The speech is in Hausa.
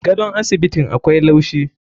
Gadon asibitin akwai laushi.